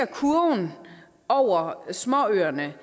kurven over småøerne